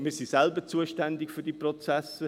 Wir sind selber zuständig für diese Prozesse.